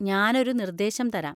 ഞാനൊരു നിർദേശം തരാം.